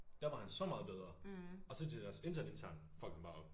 Der var han så meget bedre og så til deres interne interne fuckede han bare op